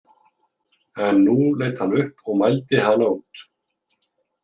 En nú leit hann upp og mældi hana út.